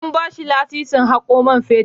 An ba shi lasisin hako man fetur.